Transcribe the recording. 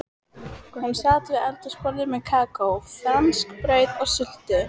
Hún sat við eldhúsborðið með kakó, franskbrauð og sultu.